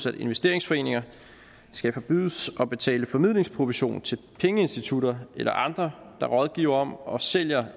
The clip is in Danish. at investeringsforeninger skal forbydes at betale formidlingsprovision til pengeinstitutter eller andre der rådgiver om og sælger